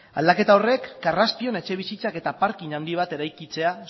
aldaketa horrek karraspion etxebizitzak eta parking handi bat eraikitzea